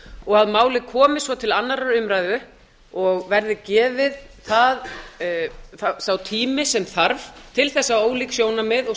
og að málið komi svo til annarrar umræðu og verði gefið sá tími sem þarf til að ólík sjónarmið og